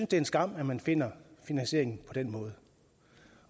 det er en skam at man finder finansieringen på den måde